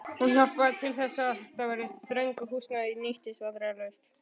Hún hjálpaði til þess, að þetta þrönga húsnæði nýttist vandræðalaust.